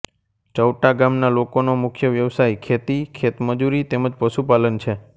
ચૌટા ગામના લોકોનો મુખ્ય વ્યવસાય ખેતી ખેતમજૂરી તેમ જ પશુપાલન છે